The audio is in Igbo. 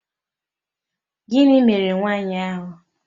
Gịnị mere nwa nwaanyị ahụ